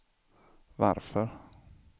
varför